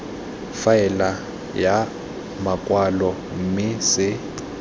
faele ya makwalo mme se